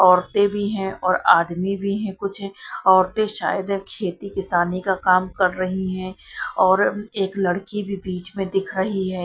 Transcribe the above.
औरतें भी हैं और आदमी भी हैं कुछ औरते शायद खेती किसानी का काम कर रही हैं और एक लड़की भी बीच में दिख रही है।